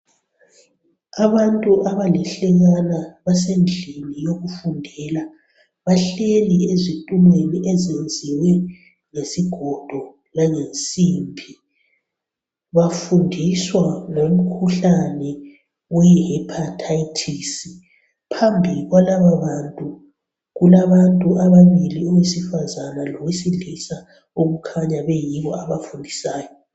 abantu abaluhlekane bahleli ezitulweni ezilungiswe ngesigodo langensimbi bafundiswa ngomkhuhlane oyi hephathathisi phambili kwalaba bantu kulabantu ababili abesifazana lowesilisa abakhanya beyibo abafundisayo